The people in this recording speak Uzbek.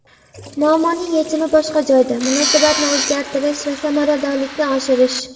Muammoning yechimi boshqa joyda: munosabatni o‘zgartirish va samaradorlikni oshirish.